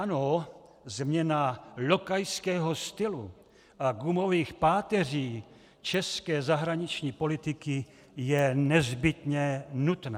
Ano, změna lokajského stylu a gumových páteří české zahraniční politiky je nezbytně nutná.